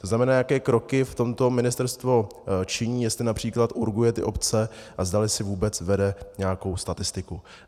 To znamená, jaké kroky v tomto ministerstvo činí, jestli například urguje ty obce a zdali si vůbec vede nějakou statistiku.